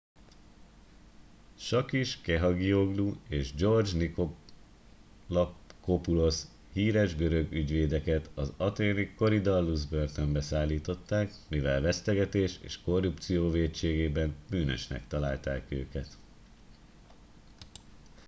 sakis kechagioglou és george nikolakopoulos híres görög ügyvédeket az athéni korydallus börtönbe szállították mivel vesztegetés és korrupció vétségében bűnösnek találták őket